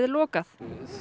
lokað